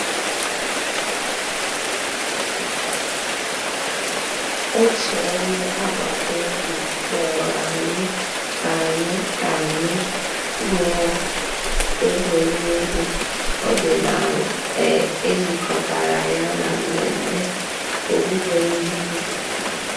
Ọ̀tù ònyè àgbàtà òbì kpọ̀rọ̀ ànyị̀ kà ànyị̀ kà ànyị̀ gụ̀ọ̀ ègwè́ré́gwụ̀ òdìnàlà è jìkọ̀tàrà yà nà mmẹ̀mmẹ̀ òwùwé ìhè ǔbì.